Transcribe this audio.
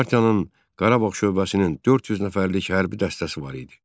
Partiyanın Qarabağ şöbəsinin 400 nəfərlik hərbi dəstəsi var idi.